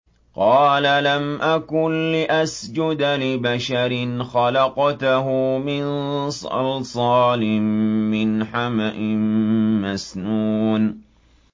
قَالَ لَمْ أَكُن لِّأَسْجُدَ لِبَشَرٍ خَلَقْتَهُ مِن صَلْصَالٍ مِّنْ حَمَإٍ مَّسْنُونٍ